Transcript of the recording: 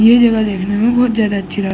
ये जगह देखने में बहुत ज्यादा अच्छी ल --